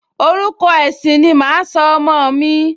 Orúkọ ẹ̀sìn ni màá sọ ọmọ mi